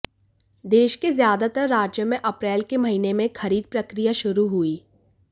देश के ज्यादातर राज्यों में अप्रैल के महीने में खरीद प्रक्रिया शुरू हुई